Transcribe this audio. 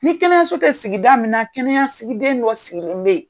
Ni kɛnɛyaso tɛ sigida min na kɛnɛyasigiden dɔ sigilenlen bɛ ye.